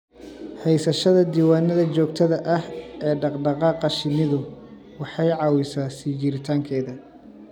Haysashada diiwaannada joogtada ah ee dhaqdhaqaaqa shinnidu waxay caawisaa sii jiritaankeeda